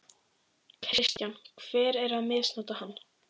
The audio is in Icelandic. Kristján: Hver er að misnota hana?